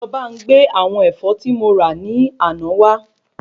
Lo bá n gbé àwọn Ẹ̀fọ́ ti mo ra ní àná wa